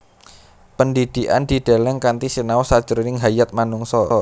Pendhidhikan dideleng kanthi sinau sajroning hayat manungsa